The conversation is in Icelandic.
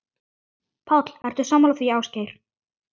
Páll: Ertu sammála því, Ásgeir?